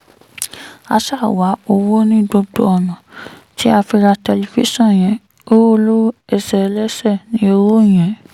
a ṣáà wá owó ní gbogbo ọ̀nà tí a fi ra tẹlifíṣàn yẹn owó olówó ẹsẹ̀ ẹlẹ́ṣẹ̀ ní owó yẹn